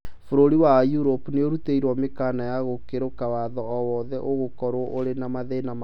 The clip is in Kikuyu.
Mabũrũri ma Europe nĩmarutĩirwo mũkana wa gũkĩrũka watho o wothe ũgũkorwo ũrĩ na mathĩna make